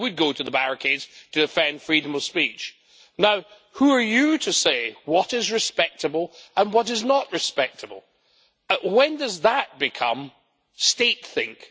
I would go to the barricades to defend freedom of speech. Now, who are you to say what is respectable and what is not respectable? When does that become statethink'?